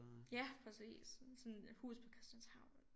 Ja præcis sådan huset på Christianshavn